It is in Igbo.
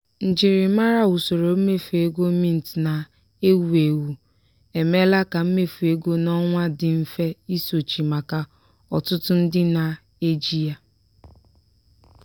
njirimara usoro mmefu ego mint na-ewu ewu emeela ka mmefu ego n'ọnwa dị mfe isochi maka ọtụtụ ndị na-eji ya.